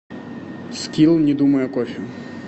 скилл не думай о кофе